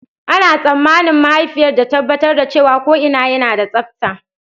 Ana tsammanin mahaifiyar ta tabbatar da cewa ko'ina yana da tsabta.